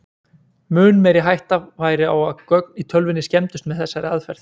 Mun meiri hætta væri á að gögn í tölvunni skemmdust með þessari aðferð.